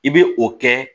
I bɛ o kɛ